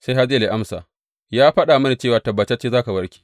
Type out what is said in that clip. Sai Hazayel ya amsa, Ya faɗa mini cewa tabbatacce za ka warke.